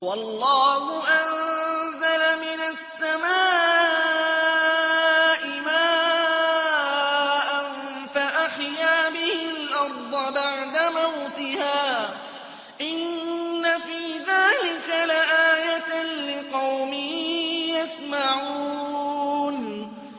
وَاللَّهُ أَنزَلَ مِنَ السَّمَاءِ مَاءً فَأَحْيَا بِهِ الْأَرْضَ بَعْدَ مَوْتِهَا ۚ إِنَّ فِي ذَٰلِكَ لَآيَةً لِّقَوْمٍ يَسْمَعُونَ